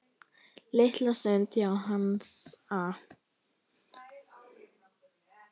Litla stund hjá Hansa